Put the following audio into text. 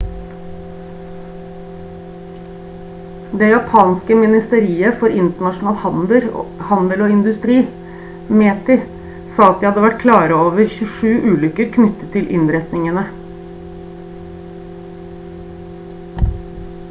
det japanske ministeriet for internasjonal handel og industri meti sa at de hadde vært klare over 27 ulykker knyttet til innretningene